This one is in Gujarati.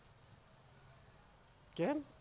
કેમ?